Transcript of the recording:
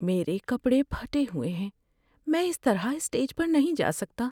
میرے کپڑے پھٹے ہوئے ہیں۔ میں اس طرح اسٹیج پر نہیں جا سکتا۔